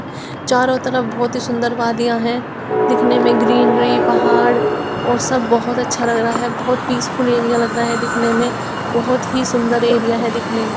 चारों तरफ बहुत ही सुंदर वादिया है दिखने में ग्रीनरी पहाड़ और सब बहुत अच्छा लग रहा है बहुत पीस फुल एरिया लग रहा है दिखने में बहुत ही सुंदर एरिया है दिखने में।